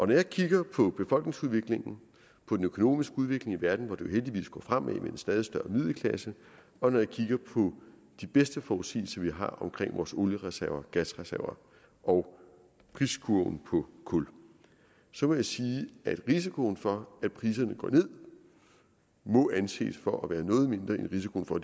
når jeg kigger på befolkningsudviklingen på den økonomiske udvikling i verden hvor det jo heldigvis går fremad med en stadig større middelklasse og når jeg kigger på de bedste forudsigelser vi har omkring vores oliereserver gasreserver og priskurven på kul så må jeg sige at risikoen for at priserne går ned må anses for at være noget mindre end risikoen for